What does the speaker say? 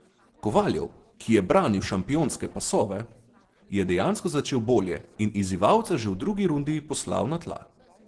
Kovaljov, ki je branil šampionske pasove, je dejansko začel bolje in izzivalca že v drugi rundi poslal na tla.